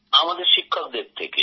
আমাদের শিক্ষকদের থেকে